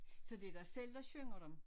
Så det dig selv der synger dem?